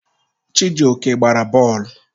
Chijioke a gbara bọọlụ?